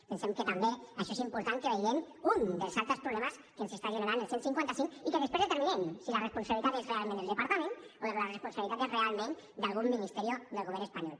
pensem que també en això és important que vegem un dels altres problemes que ens està generant el cent i cinquanta cinc i que després determinem si la responsabilitat és realment del departament o la responsabilitat és realment d’algun ministerio del govern espanyol